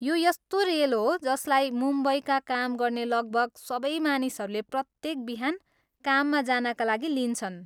यो यस्तो रेल हो जसलाई मुम्बईका काम गर्ने लगभग सबै मानिसहरूले प्रत्येक बिहान काममा जानका लागि लिन्छन्।